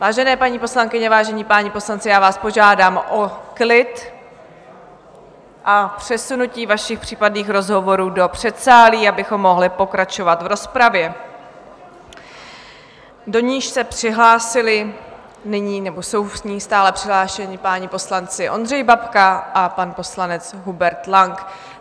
Vážené paní poslankyně, vážení páni poslanci, já vás požádám o klid a přesunutí vašich případných rozhovorů do předsálí, abychom mohli pokračovat v rozpravě, do níž se přihlásili nyní, nebo jsou v ní stále přihlášeni, páni poslanci Ondřej Babka a pan poslanec Hubert Lang.